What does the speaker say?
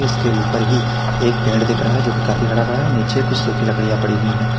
इसके ऊपर ही पेड़ दिख रहा है जो कि काफी हरा भरा है नीचे कुछ सुखी लकड़ियां पड़ी हुई हैं।